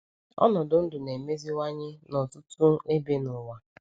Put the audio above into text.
Ọnọdụ ndụ na-emeziwanye na ọtụtụ ebe n’ụwa.